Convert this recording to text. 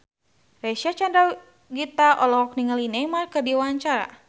Reysa Chandragitta olohok ningali Neymar keur diwawancara